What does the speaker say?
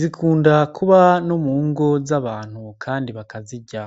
zikunda kuba no mu ngo z'abantu kandi bakazirya.